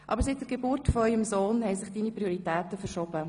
Aber seit der Geburt eures Sohnes haben sich deine Prioritäten verschoben.